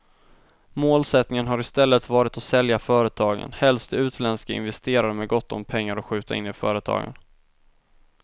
Målsättningen har i stället varit att sälja företagen, helst till utländska investerare med gott om pengar att skjuta in i företagen.